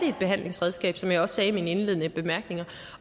et behandlingsredskab som jeg også sagde i mine indledende bemærkninger